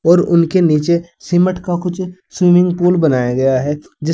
और उनके नीचे सीमेंट का कुछ स्विमिंग पूल बनाया गया है।